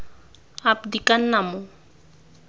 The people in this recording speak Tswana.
ap di ka nna mo